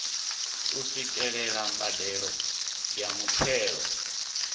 u swikelela mbadelo ya muthelo